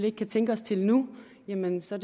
ikke kan tænke os til nu jamen så